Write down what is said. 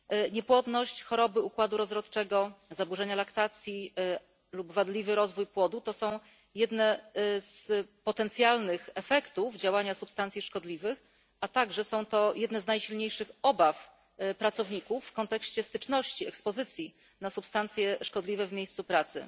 Niepłodność, choroby układu rozrodczego, zaburzenia laktacji lub wadliwy rozwój płodu to są jedne z potencjalnych efektów działania substancji szkodliwych, a także są to jedne z najsilniejszych obaw pracowników kontekście styczności, ekspozycji na substancje szkodliwe w miejscu pracy.